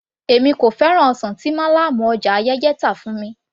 Èmi kò fẹ́ràn ọsàn tí málàmù ọjà Ayẹ́yẹ́ tà fún mi